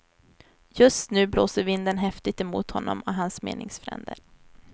Just nu blåser vinden häftigt emot honom och hans meningsfränder.